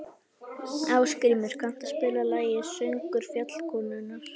Ásgrímur, kanntu að spila lagið „Söngur fjallkonunnar“?